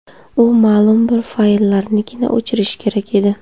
U ma’lum bir fayllarnigina o‘chirishi kerak edi.